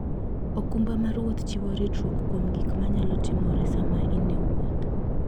okumba mar wuoth chiwo ritruok kuom gik manyalo timore sama in e wuoth.